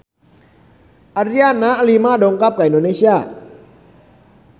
Adriana Lima dongkap ka Indonesia